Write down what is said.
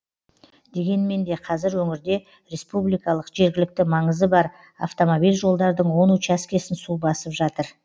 дегенмен де қазір өңірде республикалық жергілікті маңызы бар автомобиль жолдардың он учаскесін су басып жатыр